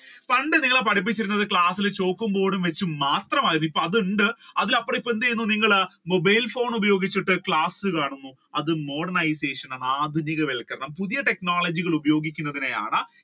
പണ്ട് നിങ്ങളെ പഠിപ്പിച്ചോണ്ടിരുന്നത് ക്ലാസ്സിൽ ഒരു ചാൾക്കും board ഉം വെച്ച് മാത്രമായിരുന്നു ഇപ്പ അതുണ്ട് അതിലപ്പുറം ഇപ്പോൾ എന്ത് ചെയ്യുന്നു നിങ്ങൾ mobile ഉപയോഗിച്ചിട്ട് ക്ലാസുകൾ കാണുന്നു. അത് modernisation ആണ് ആധുനികവത്ക്കരണം പുതിയ technology കൾ ഉപയോഗിക്കുന്നതിനെയാണ്